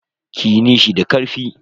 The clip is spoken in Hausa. Kiyi nishi da karfi.